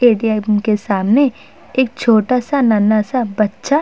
bank के सामने एक छोटा-सा नन्हा-सा बच्चा --